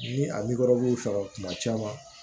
Ni a kuma caman